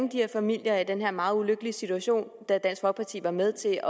her familier i den her meget ulykkelige situation da dansk folkeparti var med til